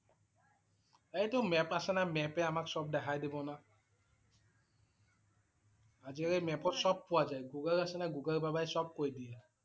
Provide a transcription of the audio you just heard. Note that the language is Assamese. এইটো map আছে না, map এ আমাক সব দেখাই দিব না। আজিকালি map ত সব পোৱা যায়। Google আছে না Google বাবাই সব কৈ দিয়ে ।